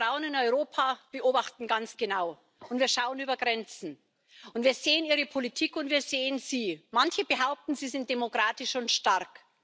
Wir Frauen in Europa beobachten ganz genau, wir schauen über Grenzen, und wir sehen Ihre Politik, und wir sehen Sie. Manche behaupten, Sie sind demokratisch und stark.